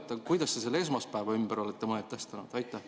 Aga kuidas te selle esmaspäeva ümber olete mõtestanud?